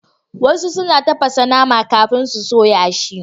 Wasu suna tafasa nama kafin su soya shi.